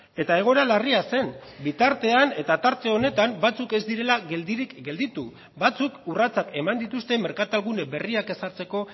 eta egoera larria zen bitartean eta tarte honetan batzuk ez direla geldirik gelditu batzuk urratsak eman dituzte merkatal gune berriak ezartzeko